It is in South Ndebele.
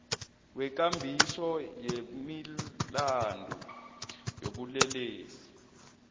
wekambiso yemilandu yobulelesi